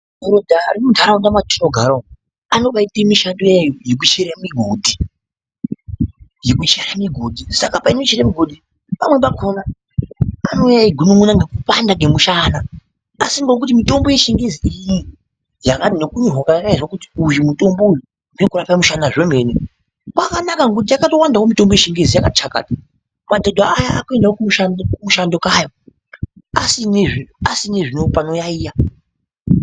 Muntu ari munharaunda mwetinogara umwu anonga eitemishando iyayi yekuchere migodhi, yekuchere migondi, saka painochere migodhi pamweni pakona anouya eigunun'una ngekupanda kwemushana asi ngekuti mitombo yechingezi iriumu yakati ngekunyorwa kwayakaizwa uyu mutombo uyu nekuaka mushana zvemene, kwakanaka ngekuti yakatowandawo mitombo yechingezi yakati chakata madhodha aya akuendawo kumushando kaya asina zve panoyayiya.